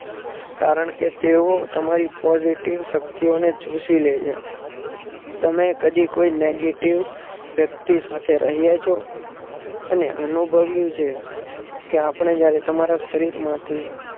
કારણ કે તેઓ તમારી positive શક્તિઓને ચૂસી લેય છે. તમે કદી કોઈ negative શક્તિ સાથે રહ્યા છો અને અનુભવ્યું છે કે આપણે જયારે તમારા શરીર માંથી